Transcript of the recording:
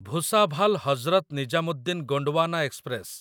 Bhusawal Hazrat Nizamuddin Gondwana express